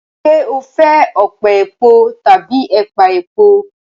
Ṣé o fẹ ọpẹ̀ èpọ̀ tábí èpà èpọ̀?